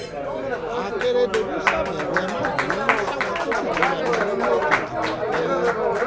akérèdòlù ṣàbẹ̀wò ẹ̀ má bínú sáwọn tó fìdí-rẹmi nínú ètò ìdìbò abẹ́lé